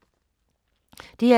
DR2